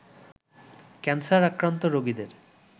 cancer আক্রান্ত রোগীদের